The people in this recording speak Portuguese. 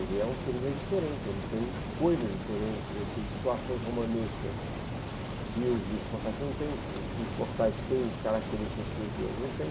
Ele é um thriller diferente, ele tem coisas diferentes, ele tem situações romanescas que os livros de Forsyth não têm, os dos Forsyth têm características que os meus não têm.